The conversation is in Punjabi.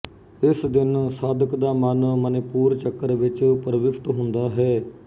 ਇਸ ਦਿਨ ਸਾਧਕ ਦਾ ਮਨ ਮਣਿਪੂਰ ਚੱਕਰ ਵਿੱਚ ਪ੍ਰਵਿਸ਼ਟ ਹੁੰਦਾ ਹੈ